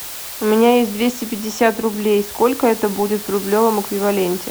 у меня есть двести пятьдесят рублей сколько это будет в рублевом эквиваленте